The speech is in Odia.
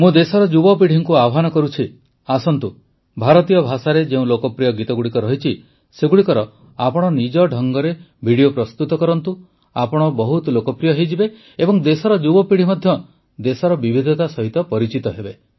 ମୁଁ ଦେଶର ଯୁବପିଢ଼ିଙ୍କୁ ଆହ୍ୱାନ କରୁଛି ଆସନ୍ତୁ ଭାରତୀୟ ଭାଷାରେ ଯେଉଁ ଲୋକପ୍ରିୟ ଗୀତଗୁଡ଼ିକ ରହିଛି ସେଗୁଡ଼ିକର ଆପଣ ନିଜ ଢଙ୍ଗରେ ଭିଡ଼ିଓ ପ୍ରସ୍ତୁତ କରନ୍ତୁ ଆପଣ ବହୁତ ଲୋକପ୍ରିୟ ହୋଇଯିବେ ଏବଂ ଦେଶର ଯୁବପିଢ଼ି ମଧ୍ୟ ଦେଶର ବିବିଧତା ସହିତ ପରିଚିତ ହେବ